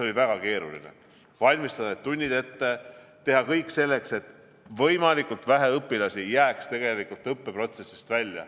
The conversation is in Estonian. Oli väga keeruline valmistada ette tunnid, teha kõik selleks, et võimalikult vähe õpilasi jääks õppeprotsessist välja.